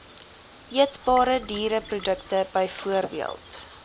eetbare diereprodukte bv